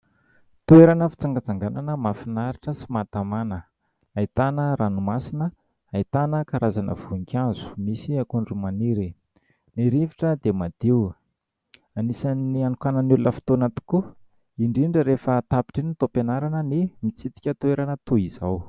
Toerana fintsangantsanganana mahafinaritra sy maha tamàna. Ahitana ranomasina, ahitana karazana voninkazo. Misy akondro maniry ; ny rivotra dia madio. Anisan'ny hanokanan'ny olona fotoana tokoa, indrindra rehefa tapitra ny taom-pianarana ny mitsidika toerana toy izao.